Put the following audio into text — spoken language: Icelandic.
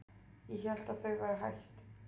Ég hélt að þau væru hætt.